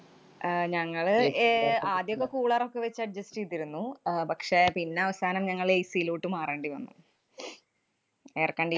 ആഹ് ഞങ്ങള് ഏർ ആദ്യമൊക്കെ cooler ഒക്കെ വച്ച് adjust ചെയ്തിരുന്നു. അഹ് പക്ഷേ, പിന്നെയവസാനം ഞങ്ങള് AC യിലോട്ട് മാറേണ്ടി വന്നു. air condi~